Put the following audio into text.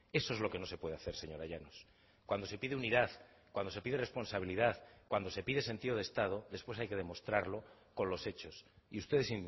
eso es lo que no se puede hacer señora llanos cuando se pide unidad cuando se pide responsabilidad cuando se pide sentido de estado después hay que demostrarlo con los hechos y ustedes